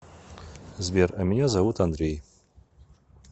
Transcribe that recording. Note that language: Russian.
сбер а меня зовут андрей